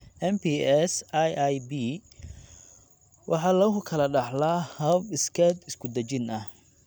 MPS IIIB waxa lagu kala dhaxlaa hab iskeed isku dejin ah.